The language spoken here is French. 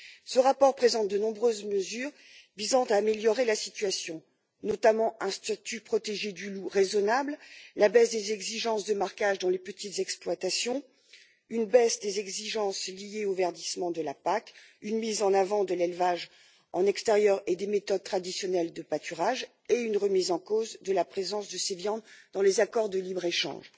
Ce rapport présente de nombreuses mesures visant à améliorer la situation, notamment un statut protégé du loup raisonnable, la baisse des exigences de marquage dans les petites exploitations, une baisse des exigences liées au verdissement de la PAC, une mise en avant de l'élevage en extérieur et des méthodes traditionnelles de pâturage ainsi qu'une remise en cause de la présence de ces viandes dans les accords de libre échange.